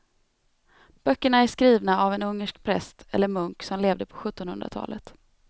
Böckerna är skrivna av en ungersk präst eller munk som levde på sjuttonhundratalet.